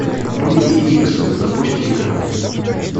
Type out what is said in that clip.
люди икс запусти ка